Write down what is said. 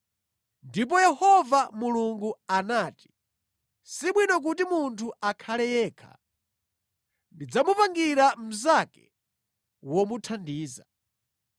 Ndipo Yehova Mulungu anati, “Sibwino kuti munthu akhale yekha. Ndidzamupangira mnzake womuthandiza.”